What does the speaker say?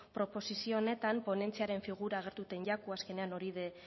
proposizio honetan ponentziaren figura agertzen zaio azkenean hori da